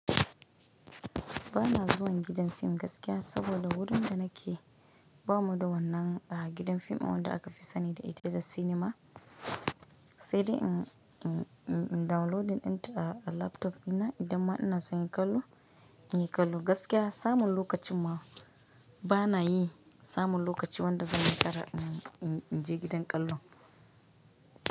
Ba na zuwan gidan fim gaskiya, saboda wurin da nake, ba mu da wannan a gidan fim in wanda aka fi sani da ita da cinema, sai dai in, in, in downloading inta a laptop ina idan ma ina son yin kallo, in yi kallo gaskiya, samun lokacin ma, bana yi, samun lokaci wanda zan yi ƙara inj inje gidan kallo.